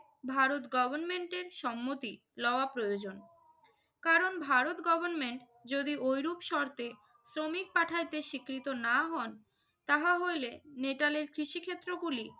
ভারত গভর্নমেন্টের সম্মতি লওয়া প্রয়োজন। কারণ ভারত গভর্নমেন্ট যদি ঐরূপ শর্তে শ্রমিক পাঠাইতে স্বীকৃত না হন তাহা হইলে নেটালের কৃষিক্ষেত্রগুলি